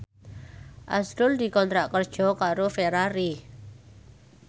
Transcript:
azrul dikontrak kerja karo Ferrari